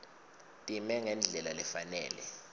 time ngendlela lefanele